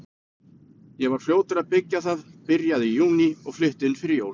Ég var fljótur að byggja það, byrjaði í júní og flutti inn fyrir jól.